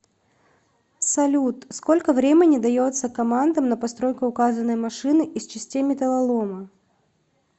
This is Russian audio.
салют сколько времени дается командам на постройку указанной машины из частей металлолома